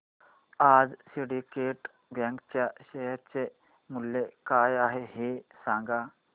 आज Syndicate Bank च्या share चे मूल्य काय आहे हे सांगा